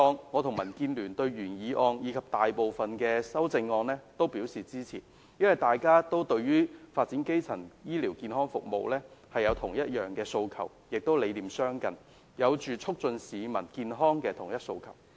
我和民建聯對今次的原議案及大部分修正案均會支持，因為大家對於發展基層醫療健康服務有相同的訴求，理念亦相近，有促進市民健康的同一訴求。